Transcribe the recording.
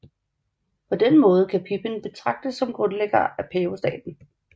På den måde kan Pipin betragtes som grundlægger af pavestaten